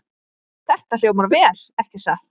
Þetta hljómar vel, ekki satt?